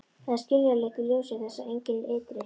Það er skiljanlegt í ljósi þess að engin ytri